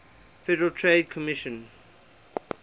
federal trade commission